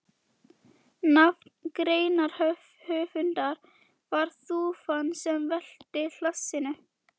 Nafn greinarhöfundar var þúfan sem velti hlassinu.